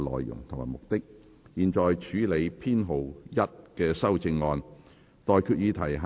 現在處理編號1的修正案。